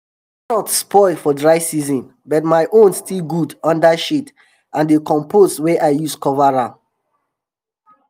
dem carrots spoil for dry season but my own still good under shade and d compost wey i use cover am